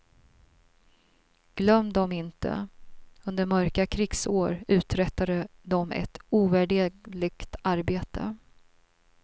Glöm dem inte, under mörka krigsår uträttade de ett ovärderligt arbete.